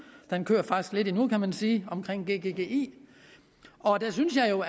den kører faktisk lidt endnu kan man sige om gggi og der synes jeg jo